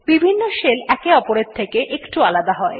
বিভিন্ন শেল একে অপরের থেকে একটু আলাদা হয়